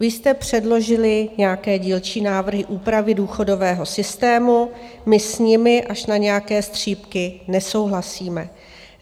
Vy jste předložili nějaké dílčí návrhy úpravy důchodového systému, my s nimi až na nějaké střípky nesouhlasíme.